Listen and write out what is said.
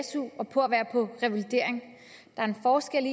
su og på at være på revalidering der er en forskel